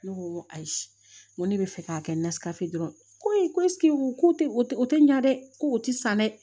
Ne ko n ko ayi n ko ne bɛ fɛ k'a kɛ n nasika dɔrɔn koyi ko ko tɛ o tɛ o tɛ ɲa dɛ ko o tɛ san dɛ